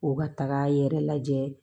K'u ka taga yɛrɛ lajɛ